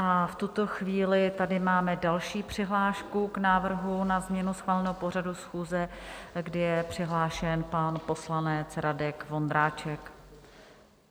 A v tuto chvíli tady máme další přihlášku k návrhu na změnu schváleného pořadu schůze, kdy je přihlášen pan poslanec Radek Vondráček.